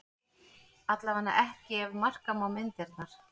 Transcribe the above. Allavega ekki ef marka má myndirnar